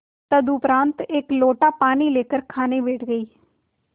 तदुपरांत एक लोटा पानी लेकर खाने बैठ गई